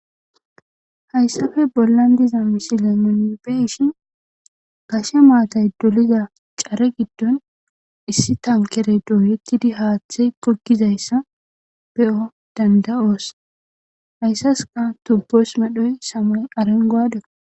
hayssafe bollan diza misile nunibeshi gashe maatay doliza care giddon issi tankere dooyekkidi haaththey kokizayssa be7o danda7oos hayssaska tubboos madhoy samoy arenguwade